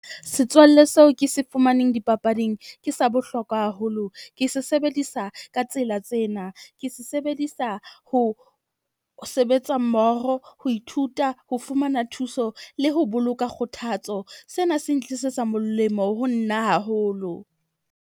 Setswalle seo ke se fumaneng dipapading ke sa bohlokwa haholo. Ke se sebedisa ka tsela tsena, ke se sebedisa ho sebetsa mmoho, ho ithuta, ho fumana thuso le ho boloka kgothatso. Sena se ntlisetsa molemo ho nna haholo.